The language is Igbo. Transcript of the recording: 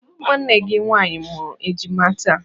Nwanne gị nwaanyị mụrụ ejima taa.